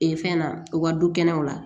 Ee fɛn na u ka dukɛnɛw la